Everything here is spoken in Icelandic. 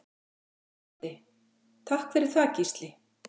Broddi: Takk fyrir það Gísli.